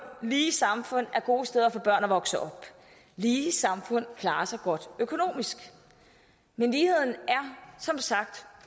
lige samfund er gode steder for børn at vokse op lige samfund klarer sig godt økonomisk men ligheden er som sagt